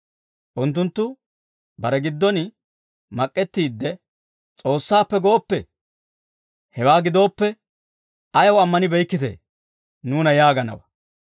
Unttunttu bare giddon mak'k'ettiidde, «S'oossaappe gooppe, hewaa gidooppe ‹Ayaw ammanibeykkitee› nuuna yaaganawaa;